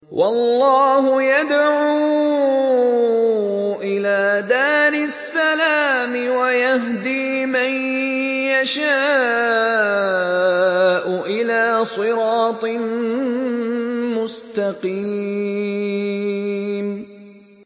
وَاللَّهُ يَدْعُو إِلَىٰ دَارِ السَّلَامِ وَيَهْدِي مَن يَشَاءُ إِلَىٰ صِرَاطٍ مُّسْتَقِيمٍ